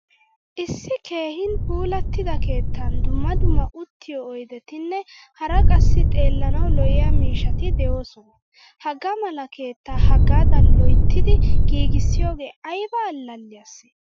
Issi keehin puulattida keettan dumma dumma uttiyo oydettine hara qassi xeelanawu lo'iyaa miishshati deosona. Hagaa mala keetta hagaadan loyttidi giigisiyoge ayba allaliyase?